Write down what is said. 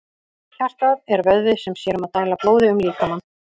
Hjartað er vöðvi sem sér um að dæla blóði um líkamann.